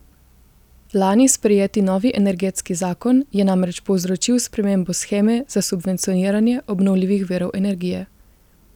Lani sprejeti novi energetski zakon je namreč povzročil spremembo sheme za subvencioniranje obnovljivih virov energije.